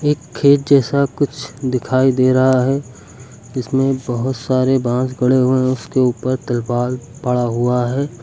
एक खेत जैसा कुछ दिखाई दे रहा है जिसमें बहोत सारे बांस गड़े हुए हैं उसके ऊपर तिरपाल पड़ा हुआ है।